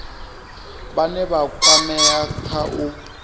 vhane vha kwamea kha u